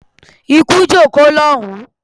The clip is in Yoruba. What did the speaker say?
Ikú jókòó lọ́hùn-ún!